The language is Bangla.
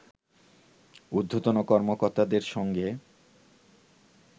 উর্ধ্বতন কর্মকর্তাদের সঙ্গে